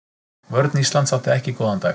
Vörn Íslands átti ekki góðan dag.